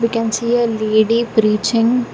we can see a lady preaching.